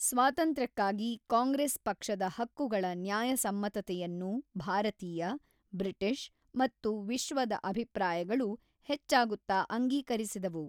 ಸ್ವಾತಂತ್ರ್ಯಕ್ಕಾಗಿ ಕಾಂಗ್ರೆಸ್ ಪಕ್ಷದ ಹಕ್ಕುಗಳ ನ್ಯಾಯಸಮ್ಮತತೆಯನ್ನು ಭಾರತೀಯ, ಬ್ರಿಟಿಷ್ ಮತ್ತು ವಿಶ್ವದ ಅಭಿಪ್ರಾಯಗಳು ಹೆಚ್ಚಾಗುತ್ತಾ ಅಂಗೀಕರಿಸಿದವು.